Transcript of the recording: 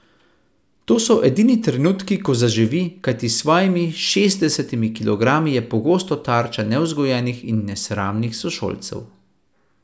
To so edini trenutki, ko zaživi, kajti s svojimi šestdesetimi kilogrami je pogosto tarča nevzgojenih in nesramnih sošolcev.